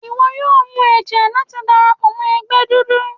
Iwọ yóò mu ẹjẹ lati darapọ mọ ẹgbẹ dudu